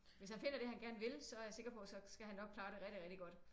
Hvis han finder det han gerne vil så er jeg sikker på så skal han nok klare det rigtig rigtig godt